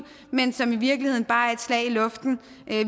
men som i virkeligheden bare er et slag i luften